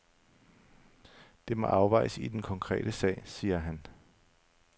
Det må afvejes i den konkrete sag, siger han.